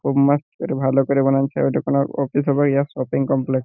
Good marks একটু ভালো করে বানান্ছে এটা কোনো অফিস হবে ইয়া শপিং কমপ্লেক্স ।